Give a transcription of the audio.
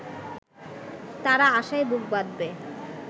তারা আশায় বুক বাঁধবে